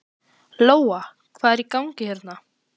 Lóa: Hvað er í gangi hérna?